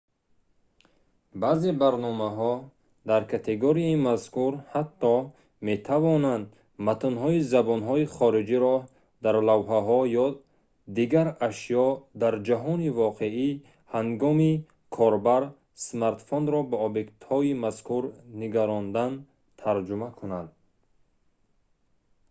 баъзе барномаҳо дар категорияи мазкур ҳатто метавонанд матнҳои забонҳои хориҷиро дар лавҳаҳо ё дигар ашё дар ҷаҳони воқеӣ ҳангоми ҳангоми корбар смартфонро ба объектҳои мазкур нигарондан тарҷума кунанд